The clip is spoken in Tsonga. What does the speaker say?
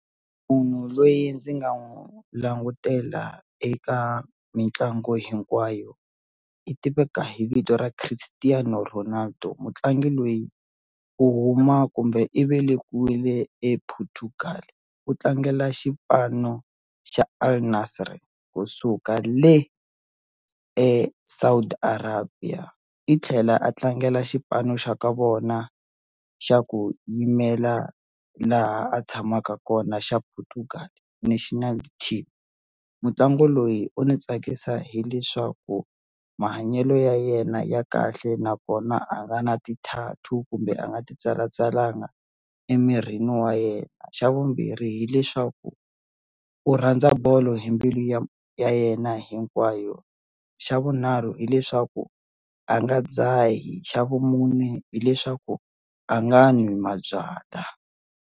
Munhu loyi ndzi nga n'wu langutela eka mitlangu hinkwayo i tiveka hi vito ra Christiano Ronaldo mutlangi loyi u huma kumbe i velekiwile Portugal u tlangela xipano xa AL-Nassr kusuka le eSaudi Arabia i tlhela a tlangela xipano xa ka vona xa ku yimela laha a tshamaka kona xa Portugal National Team mutlangi loyi u ni tsakisa hileswaku mahanyelo ya yena ya kahle nakona a nga na ti-tattoo kumbe a nga ti tsalatsalanga emirini wa yena xa vumbirhi hileswaku u rhandza bolo hi mbilu ya yena hinkwayo xa vunharhu hileswaku a nga dzahi xa vumune hileswaku a nga nwi mabyala.